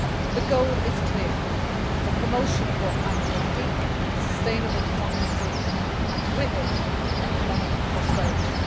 The goal is clear the promotion of what I call deep and sustainable democracy' and with it economic prosperity.